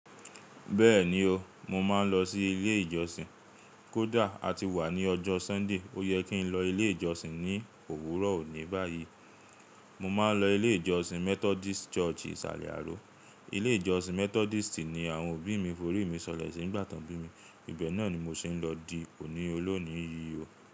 Bẹ́ẹ̀ni o, mo máa ń lọ sí ilé ìjọsìn. Kódà a ti wà ní ọjọ́ Sunday, ó yẹ kí n lọ ilé ìjọsìn ní òwúrọ̀ òní báyìí. Mo máa ń lọ Ilé ìjọsìn Methodist Church Isale Aro. Ilé ìjọsìn Methodist ni àwọn òbí mi forí mi sọlẹ̀ sì nigbà tan bí mi. Ibẹ̀ náà ni mo siń lọ di òní olóòní yìí o.